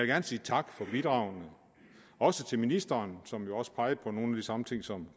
gerne sige tak for bidragene også til ministeren som jo også pegede på nogle af de samme ting som